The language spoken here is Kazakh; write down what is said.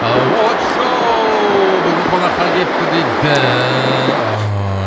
а очоу бүгін қонаққа келіпті дейді аха